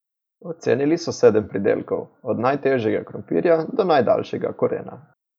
Ocenili so sedem pridelkov, od najtežjega krompirja do najdaljšega korena.